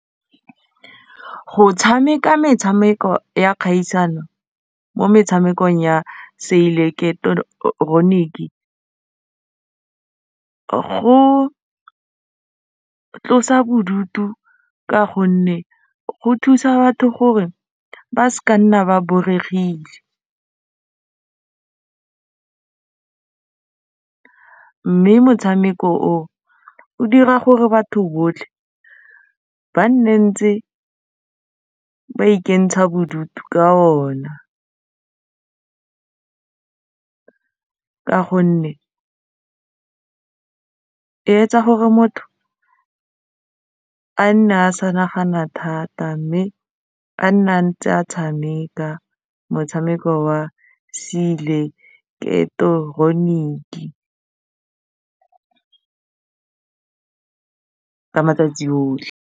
Go tshameka metshameko ya kgaisano mo metshamekong ya se ileketeroniki go tlosa bodutu ka gonne go thusa batho gore ba se ka nna ba boregile mme motshameko o o dira gore batho botlhe ba nne ntse ba ikentsha bodutu ka ona ka gonne e etsa gore motho a nne a sa nagana thata mme a nne a ntse a tshameka motshameko wa ka matsatsi otlhe.